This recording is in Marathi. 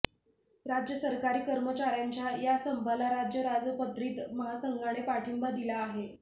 राज्य सरकारी कर्मचार्यांच्या या संपाला राज्य राजपत्रित महासंघाने पाठिंबा दिला आहे